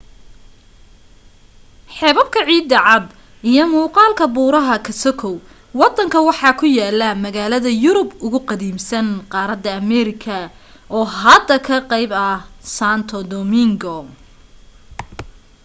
xeebabka ciida cad iyo muuqaalka buuraha ka sokow wadanka waxaa ku yaala magaalada yurub ugu qadiimsan qaarada america oo hadda ka qayb ah santo domingo